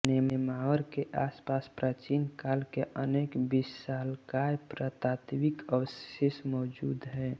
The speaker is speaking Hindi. नेमावर के आसपास प्राचीनकाल के अनेक विशालकाय पुरातात्विक अवशेष मौजूद हैं